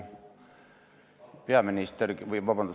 Kolm minutit lisaaega.